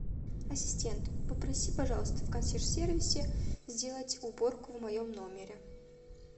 ассистент попроси пожалуйста в консьерж сервисе сделать уборку в моем номере